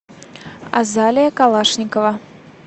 азалия калашникова